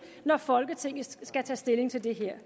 når folketinget skal tage stilling til det her